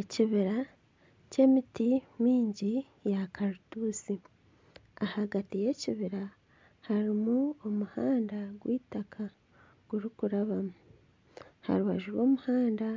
Ekibira ky'emiti mingi eya karutusi ahagati y'ekibiri harimu omuhanda gw'eitaka gurikurabamu aha rubaju rw'omuhanda